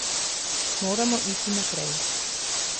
Moramo iti naprej.